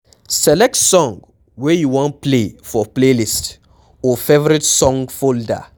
Select song wey you wan play for playlist or favourite song folder